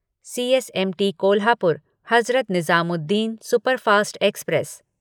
CSMT Kolhapur Hazrat Nizamuddin superfast express